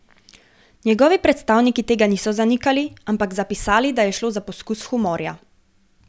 Njegovi predstavniki tega niso zanikali, ampak zapisali, da je šlo za poskus humorja.